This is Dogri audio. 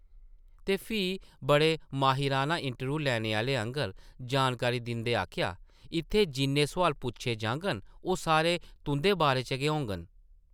ते फ्ही बड़े माहिराना इंटरव्यूह् लैने आह्ले आंगर जानकारी दिंदे आखेआ, ‘‘इत्थै जिन्ने सोआल पुच्छे जाङन, ओह् सारे तुंʼदे बारे च गै होङन ।